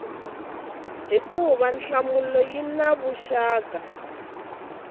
hikuva nhlamulo yi na vuxaka